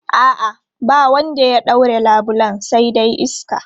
A'a, ba wanda ya ɗaure labulen sai dai iska.